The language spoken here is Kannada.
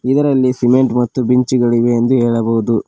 ಇದರಲ್ಲಿ ಸಿಮೆಂಟ್ ಮತ್ತು ಬಿಂಚಿಗಳಿವೆ ಎಂದು ಹೇಳಬಹುದು.